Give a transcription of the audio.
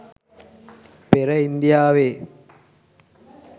පෙර ඉන්දියාවේ